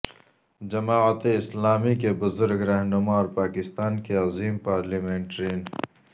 جماعت اسلامی کے بزرگ رہنما اور پاکستان کے عظیم پارلیمنٹرین